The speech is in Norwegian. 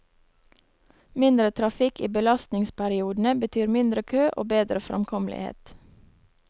Mindre trafikk i belastningsperiodene, betyr mindre kø og bedre framkommelighet.